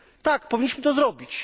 Tak, powinniśmy to zrobić.